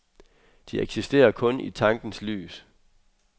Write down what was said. De eksisterer kun i tankens lys.